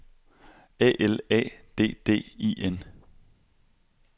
A L A D D I N